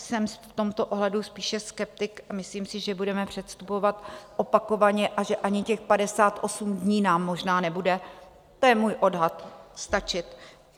Jsem v tomto ohledu spíše skeptik a myslím si, že budeme předstupovat opakovaně a že ani těch 58 dní nám možná nebude, to je můj odhad, stačit.